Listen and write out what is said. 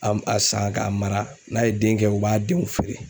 A a san k'a mara n'a ye den kɛ u b'a denw feere.